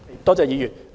多謝議員。